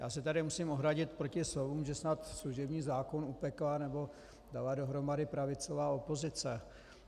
Já se tu musím ohradit proti slovům, že snad služební zákon upekla nebo dala dohromady pravicová opozice.